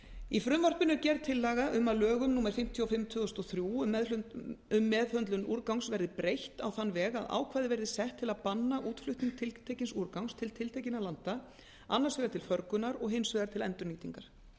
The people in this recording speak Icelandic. í frumvarpinu er gerð tillaga um að lögum númer fimmtíu og fimm tvö þúsund og þrjú um meðhöndlun úrgangs verði breytt á þann veg að ákvæði verði sett til að banna útflutning tiltekins úrgangs til tiltekinna landa annars vegar til förgunar og hins vegar til endurnýtingar